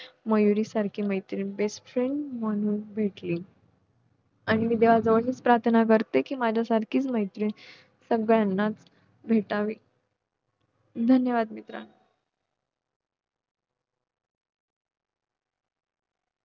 खांदेकरी अशा काही किमयेने पालखी नाचवतात की एक क्षण आपल्याला वाटते की ती निसटणार तर नाही ना , पण हवेत हलकाच झोक घेत ती पुन्हा खांद्यावर स्थिरावते तेव्हा काळजात कुठेतरी धस्स झाल्या सारखं होत.